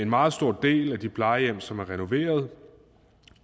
meget stor del af de plejehjem som er renoveret